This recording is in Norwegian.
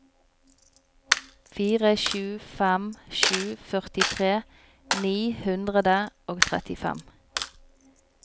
fire sju fem sju førtitre ni hundre og trettifem